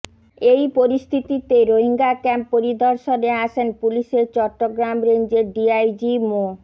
এই পরিস্থিতিতে Rohingya camp পরিদর্শনে আসেন পুলিশের চট্টগ্রাম রেঞ্জের ডিআইজ মো